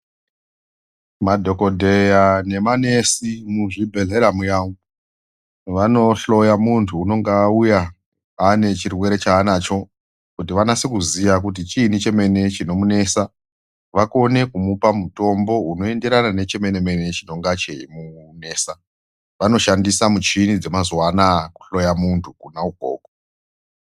Madhokodheya nemanesi muzvibhedhlera muya umu, vanohloya muntu unenga auya ane chirwere chaanacho kuti vanase kuziya kuti chiini chemene chinomunesa vakone kumupa mutombo unoenderana nechemene mene chinonga cheimunesa, vanoshandisa muchini dzemazuva anaya kuhloya muntu kona ikoko.